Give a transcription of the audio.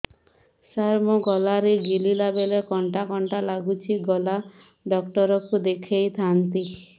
ସାର ମୋ ଗଳା ରେ ଗିଳିଲା ବେଲେ କଣ୍ଟା କଣ୍ଟା ଲାଗୁଛି ଗଳା ଡକ୍ଟର କୁ ଦେଖାଇ ଥାନ୍ତି